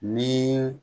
Ni